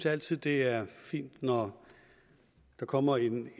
altid det er fint når der kommer en